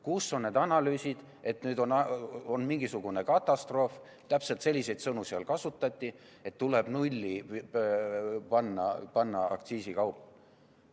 Kus on need analüüsid, et nüüd on mingisugune katastroof – täpselt selliseid sõnu seal kasutati – ja tuleb selle kauba aktsiis nulli panna?